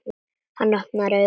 Hann opnar augun.